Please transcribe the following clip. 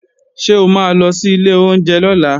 Ṣé o ma lọ sí ilé oúnjẹ lọ́la?